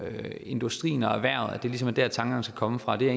industrien og erhvervet det er ligesom der tankerne skal komme fra det er